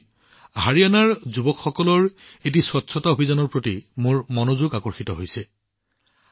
এনেদৰেই হাৰিয়ানাৰ যুৱকযুৱতীসকলৰ দ্বাৰা পৰিষ্কাৰ পৰিচ্ছন্নতা অভিযানৰ প্ৰতি মোৰ মনোযোগ আকৰ্ষণ কৰা হৈছিল